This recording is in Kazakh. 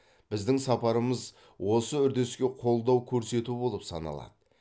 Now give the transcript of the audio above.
біздің сапарымыз осы үрдіске қолдау көрсету болып саналады